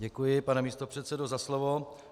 Děkuji, pane místopředsedo, za slovo.